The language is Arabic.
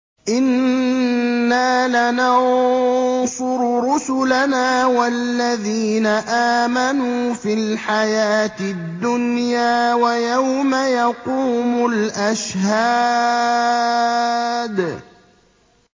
إِنَّا لَنَنصُرُ رُسُلَنَا وَالَّذِينَ آمَنُوا فِي الْحَيَاةِ الدُّنْيَا وَيَوْمَ يَقُومُ الْأَشْهَادُ